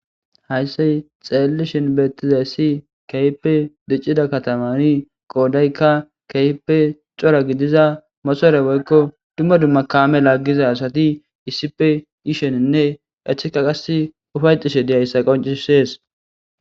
Hayssey xeellishin beettiza ssi keype diccida katamani qoodaykka keype cora gidiza mosoere goykko dumma dumma kaame laaggiza asati iisipe iisheninne echeka qas ufay xishe deyayssa qoncisees